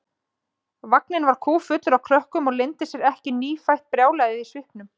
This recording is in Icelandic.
Vagninn var kúffullur af krökkum og leyndi sér ekki nýfætt brjálæðið í svipnum.